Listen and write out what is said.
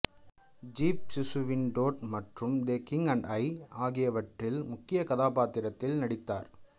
ஜிப்சிசுவீனி Todd மற்றும் the king and I ஆகியவற்றில்முக்கியக் கதாப்பாத்திரத்தில் நடித்தார்